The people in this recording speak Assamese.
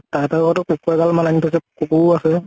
তাহাতে আগ্টো কুকুৰ এগাল মান আনি থৈছে। কুকুৰো আছে।